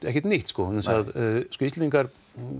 ekkert nýtt Íslendingar